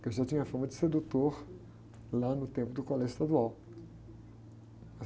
que eu já tinha fama de sedutor lá no tempo do colégio estadual.